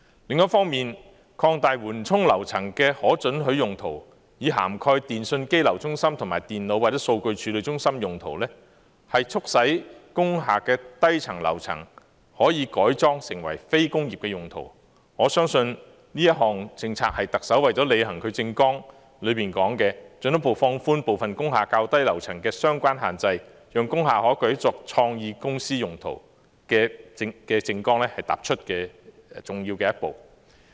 另一方面，擴大緩衝樓層的可准許用途，以涵蓋電訊機樓中心、電腦或數據處理中心用途，促使工廈的低層樓層可以改裝為非工業用途，我相信這項政策是特首為了履行其政綱所說的進一步放寬部分工廈較低樓層的相關限制，讓工廈可改作創意公司用途的政綱踏出重要的一步。